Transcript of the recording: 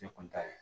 Ne kun t'a ye